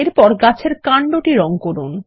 এরপর গাছের কান্ড টি রঙ করুন